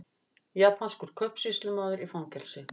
Japanskur kaupsýslumaður í fangelsi